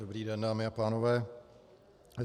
Dobrý den, dámy a pánové.